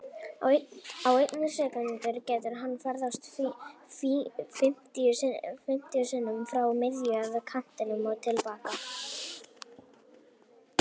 Á einni sekúndu getur hann ferðast fimmtíu sinnum frá miðju, að kantinum og til baka.